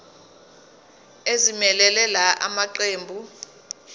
ezimelele la maqembu